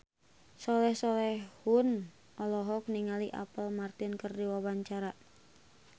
Soleh Solihun olohok ningali Apple Martin keur diwawancara